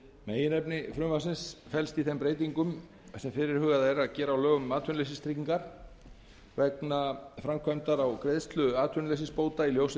meginefni frumvarpsins felst í þeim breytingum sem fyrirhugað er að gera á lögum um atvinnuleysistryggingar vegna framkvæmdar á greiðslu atvinnuleysisbóta í ljósi